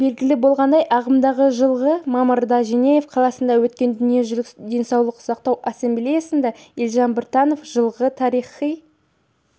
белгілі болғандай ағымдағы жылғы мамырда женева қаласында өткен дүниежүзілік денсаулық сақтау ассамблеясында елжан біртанов жылғы тарихи